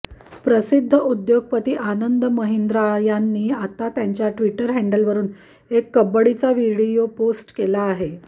प्रसिद्ध उद्योगपती आनंद महिंद्रा यांनी आता त्यांच्या टि्वटर हँडलवरुन एक कबड्डीचा व्हिडीओ पोस्ट केला आहे